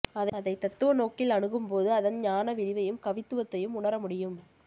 அதை தத்துவ நோக்கில் அணுகும்போது அதன் ஞானவிரிவையும் கவித்துவத்தையும் உணர முடியும்